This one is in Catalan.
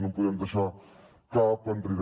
no en podem deixar cap enrere